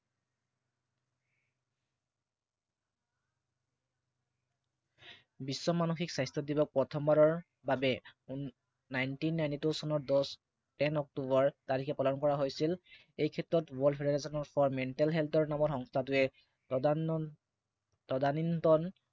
বিশ্ব মানসিক স্বাস্থ্য় দিৱস প্ৰথমবাৰৰ বাবে Nineteen Ninety Two চনত দহ টেন অক্টোবৰ তাৰিখে পালন কৰা হৈছিল। এই ক্ষেত্ৰত world federation for mental health নামৰ সংস্থাটোৱে তদানীন্তন